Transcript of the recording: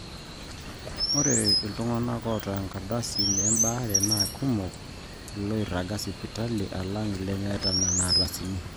ore iltung'anak oota enkardasi embaare naa kumok ilooiraga sipitali alang ilemeeta nena ardasini